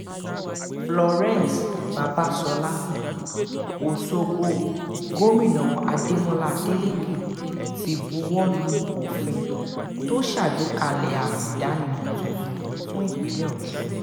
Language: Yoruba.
florence babàsọ́lá ọ̀ṣọ́gbó gómìnà adémọlá adeleke ti buwọ́ lu òfin tó ṣàgbékalẹ̀ àmì ìdánimọ̀ tuntun fún ìpínlẹ̀ ọ̀sùn